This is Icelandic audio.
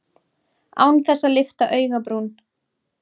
Án þess að lyfta augabrún.